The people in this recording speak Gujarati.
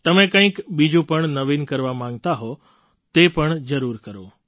તમે કંઈક બીજું પણ નવીન કરવા માગતા હો તો તે પણ જરૂર કરો